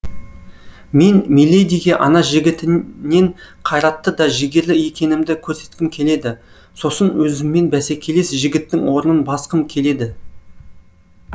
мен миледиге ана жігітінен қайратты да жігерлі екенімді көрсеткім келеді сосын өзіммен бәсекелес жігіттің орнын басқым келеді